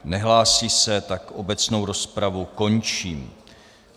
Nehlásí se, tak obecnou rozpravu končím.